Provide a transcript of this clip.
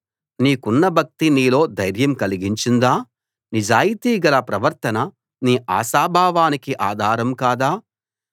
నీకున్న భక్తి నీలో ధైర్యం కలిగించదా నిజాయితీ గల ప్రవర్తన నీ ఆశాభావానికి ఆధారం కాదా